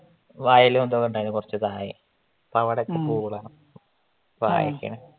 വയലൊക്കെ ഉണ്ടാരുന്നു കൊറച്ചു തായേ ഇപ്പൊ അവിടേക്ക